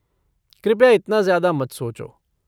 कृपया इतना ज़्यादा मत सोचो।